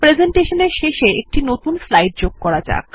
প্রেসেন্টেশনের শেষে একটি নতুন স্লাইড যোগ করা যাক